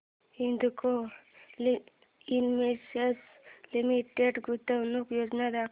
Hindalco industries limited गुंतवणूक योजना दाखव